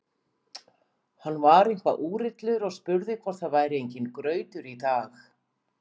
Hann var eitthvað úrillur og spurði hvort það væri enginn grautur í dag.